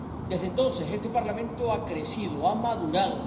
Desde entonces este Parlamento ha crecido, ha madurado.